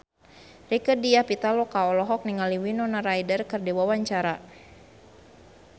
Rieke Diah Pitaloka olohok ningali Winona Ryder keur diwawancara